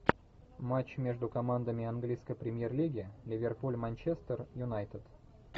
матч между командами английской премьер лиги ливерпуль манчестер юнайтед